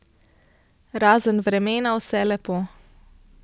Razen vremena vse lepo.